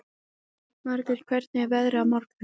Margot, hvernig er veðrið á morgun?